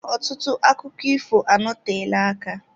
Ọtụtụ akụkọ ifo anọteela aka.